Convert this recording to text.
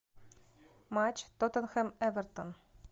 матч тоттенхэм эвертон